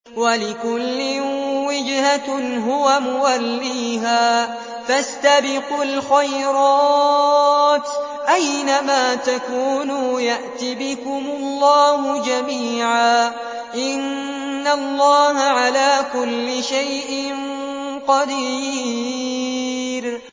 وَلِكُلٍّ وِجْهَةٌ هُوَ مُوَلِّيهَا ۖ فَاسْتَبِقُوا الْخَيْرَاتِ ۚ أَيْنَ مَا تَكُونُوا يَأْتِ بِكُمُ اللَّهُ جَمِيعًا ۚ إِنَّ اللَّهَ عَلَىٰ كُلِّ شَيْءٍ قَدِيرٌ